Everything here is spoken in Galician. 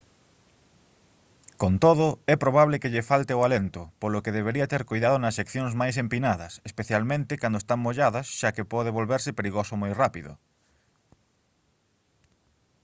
con todo é probable que lle falte o alento polo que debería ter coidado nas seccións máis empinadas especialmente cando están molladas xa que pode volverse perigoso moi rápido